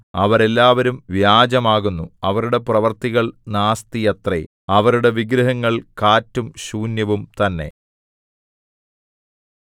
അവരെല്ലാവരും വ്യാജമാകുന്നു അവരുടെ പ്രവൃത്തികൾ നാസ്തിയത്രേ അവരുടെ വിഗ്രഹങ്ങൾ കാറ്റും ശൂന്യവും തന്നെ